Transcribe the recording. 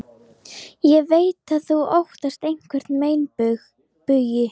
Ég veit að þú óttast einhverja meinbugi.